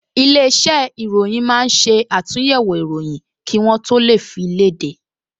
Ilé-iṣẹ́ ìròyìn máa ń ṣe àtúnyẹ̀wò ìròyìn kí wọ́ tó fi léde